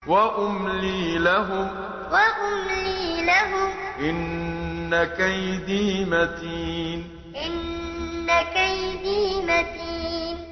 وَأُمْلِي لَهُمْ ۚ إِنَّ كَيْدِي مَتِينٌ وَأُمْلِي لَهُمْ ۚ إِنَّ كَيْدِي مَتِينٌ